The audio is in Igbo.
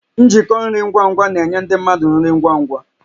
Njikọ nri ngwa ngwa na-enye ndị mmadụ nri ngwa ngwa